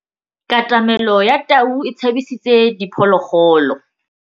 Katamêlô ya tau e tshabisitse diphôlôgôlô.